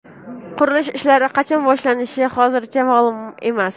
Qurilish ishlari qachon boshlanishi hozircha ma’lum emas.